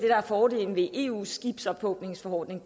er fordelen ved eus skibsophugningsforordning